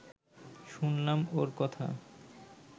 শুনলাম ওঁর কথা